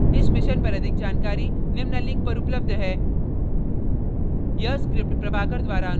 इस mission पर अधिक जानकारी निम्न link पर उपलब्ध है